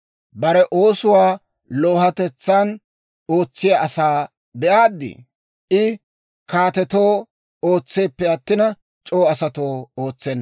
Bare oosuwaa loohatetsan ootsiyaa asaa be'aaddi? I kaatetoo ootseeppe attina, c'oo asatoo ootsenna.